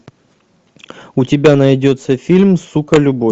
у тебя найдется фильм сука любовь